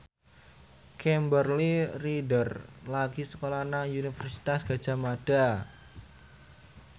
Kimberly Ryder lagi sekolah nang Universitas Gadjah Mada